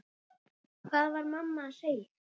Hvað var mamma að segja?